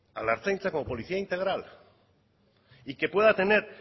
al ertzaintza como política integral y que pueda tener